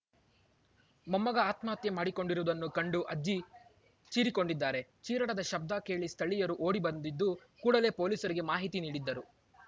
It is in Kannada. ಮೊಮ್ಮಗ ಆತ್ಮಹತ್ಯೆ ಮಾಡಿಕೊಂಡಿರುವುದನ್ನು ಕಂಡು ಅಜ್ಜಿ ಚೀರಿಕೊಂಡಿದ್ದಾರೆ ಚೀರಾಟದ ಶಬ್ದ ಕೇಳಿ ಸ್ಥಳೀಯರು ಓಡಿ ಬಂದಿದ್ದು ಕೂಡಲೇ ಪೊಲೀಸರಿಗೆ ಮಾಹಿತಿ ನೀಡಿದ್ದರು